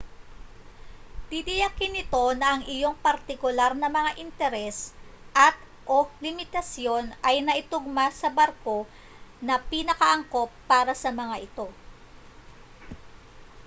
titiyakin nito na ang iyong partikular na mga interes at/o limitasyon ay naitugma sa barko na pinakaangkop para sa mga ito